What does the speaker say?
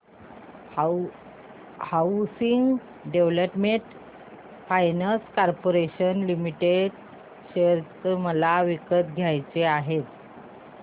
housing development finance corporation limited share मला विकत घ्यायचे आहेत